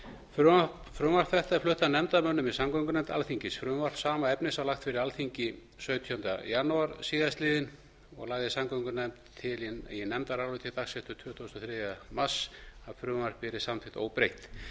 frumvarp þetta er flutt af nefndarmönnum í samgöngunefnd alþingis frumvarp sama efnis var lagt fyrir alþingi sautjánda janúar síðastliðinn og lagði samgöngunefnd til í nefndaráliti dagsett tuttugasta og þriðja mars að frumvarpið yrði samþykkt óbreytt